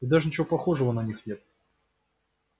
и даже ничего похожего на них нет